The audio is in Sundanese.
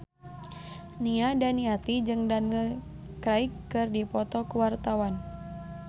Nia Daniati jeung Daniel Craig keur dipoto ku wartawan